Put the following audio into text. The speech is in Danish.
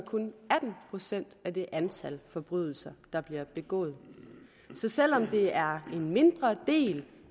atten procent af det antal forbrydelser der bliver begået så selv om det er en mindre del